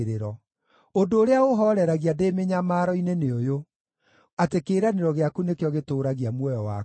Ũndũ ũrĩa ũũhooreragia ndĩ mĩnyamaro-inĩ nĩ ũyũ: atĩ kĩĩranĩro gĩaku nĩkĩo gĩtũũragia muoyo wakwa.